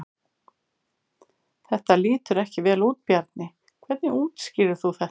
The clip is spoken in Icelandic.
Þetta lítur ekki vel út Bjarni, hvernig útskýrir þú þetta?